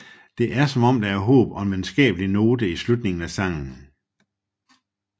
Det er som om der er håb og en venskabelig note i slutningen af sangen